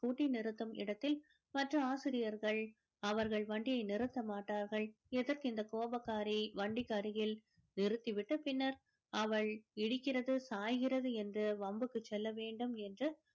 scooty நிறுத்தும் இடத்தில் மற்ற ஆசிரியர்கள் அவர்கள் வண்டியை நிறுத்த மாட்டார்கள் எதற்கு இந்த கோபக்காரி வண்டிக்கு அருகில் நிறுத்திவிட்டு பின்னர் அவள் இடிக்கிறது சாய்கிறது என்று வம்புக்கு செல்ல வேண்டும் என்று